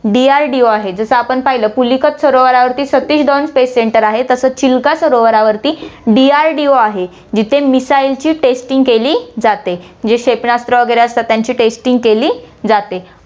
DRDO आहे, जसं आपण पाहिलं, पुलिकत सरोवरावरती सतीश धवन space center आहे, तसं चिल्का सरोवरावरती DRDO आहे, जिथे missile ची testing केली जाते, जे क्षेपणास्त्र वैगरे असतात, त्यांची testing केली जाते.